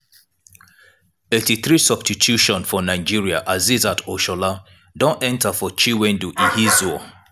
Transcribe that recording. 83' substitution for nigeria asisat oshola don enta for chinwendu ihezuo.